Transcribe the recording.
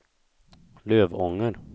Lövånger